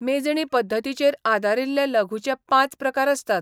मेजणी पद्दतीचेर आदारिल्ले लघूचे पांच प्रकार आसतात.